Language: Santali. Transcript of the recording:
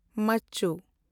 ᱢᱟᱪᱪᱩ